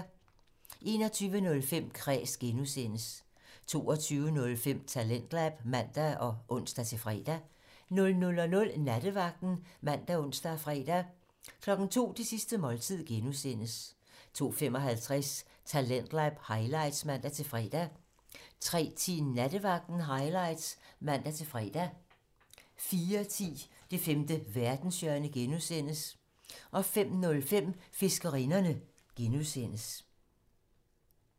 21:05: Kræs (G) 22:05: Talentlab (man og ons-fre) 00:00: Nattevagten (man og ons-fre) 02:00: Det sidste måltid (G) 02:55: Talentlab highlights (man-fre) 03:10: Nattevagten Highlights (man-fre) 04:10: Det femte verdenshjørne (G) 05:05: Fiskerinderne (G)